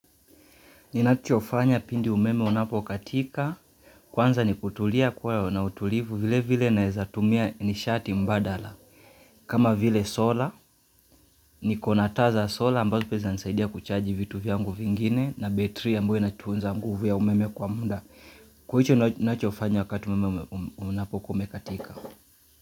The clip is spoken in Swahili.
Ninachofanya pindi umeme unapokatika, kwanza ni kutulia kuwa na utulivu vile vile naweza tumia nishati mbadala. Kama vile sola, nikona taa za sola ambazo pia zinanisaidia kuchaji vitu vyangu vingine na battery ambayo inatunza nguvu ya umeme kwa muda. Kwa hicho nachofanya wakati umeme unapokuwa umekatika.